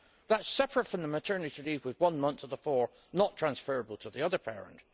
That is separate from the maternity leave, with one month of the four not transferable to the other parent.